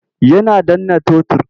Yana danna totur.